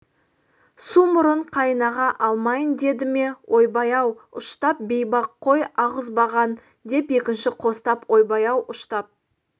су мұрын қайын аға алмайын деді ме ойбай-ау ұштап бейбақ қой алғызбаған деп екіншісі қостап ойбай-ау ұштап